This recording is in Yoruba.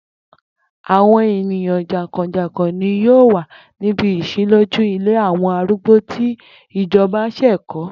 Àwo̩n èèyàn jàǹkò̩jàǹkò̩ ni yóò wà níbi ìs̩ílójú ilé àwo̩n arúgbó tí ìjo̩ba s̩è̩ kó̩